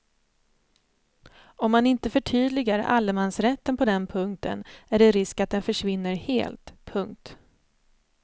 Om man inte förtydligar allemansrätten på den punkten är det risk att den försvinner helt. punkt